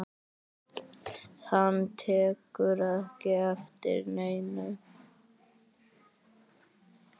Hann tekur ekki eftir neinu.